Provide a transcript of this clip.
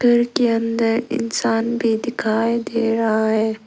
घर के अंदर इंसान भी दिखाई दे रहा है।